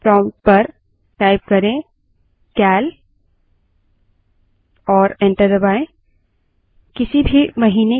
वर्तमान महीने के calendar को देखने के लिए prompt पर cal type करें और enter दबायें